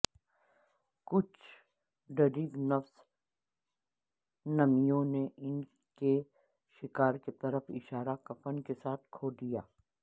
کچھ ڈریگنفس نمیوں نے ان کے شکار کی طرف اشارہ کفن کے ساتھ کھو دیا